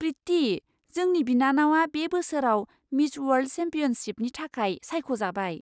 प्रिति! जोंनि बिनानावा बे बोसोराव मिस अवार्ल्ड चेम्पियनशिपनि थाखाय सायख'जाबाय।